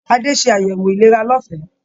Adé se ayẹwo ìlera lọfẹ.